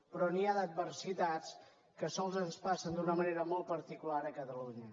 però n’hi ha d’adversitats que sols ens passen d’una manera molt particular a catalunya